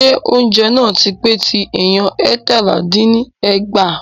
Ṣé oúnjẹ náà tí pé tí èèyàn eétalá dín ní ẹgbàá?